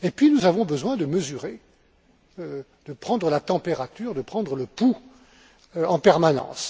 Et puis, nous avons besoin de mesurer, de prendre la température, de prendre le pouls en permanence.